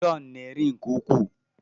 John na-eri nke ukwuu